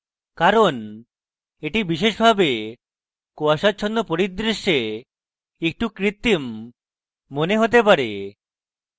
কারণ এটি বিশেষভাবে কুয়াশাচ্ছন্ন পরিদৃশ্যে একটু কৃত্রিম মনে হতে পারে